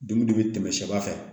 Dumuni dun bɛ tɛmɛ sɛ